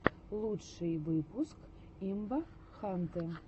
лучший выпуск имбахантэ